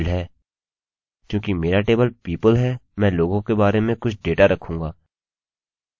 चूँकि मेरा table people है मैं लोगों के बारे में कुछ डेटा रखूँगा